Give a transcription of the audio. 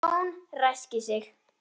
Jón ræskir sig.